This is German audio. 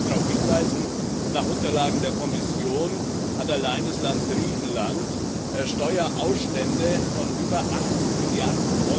Ich will nur mal darauf hinweisen Nach Unterlagen der Kommission hat allein das Land Griechenland Steuerausstände von über 80 Mrd.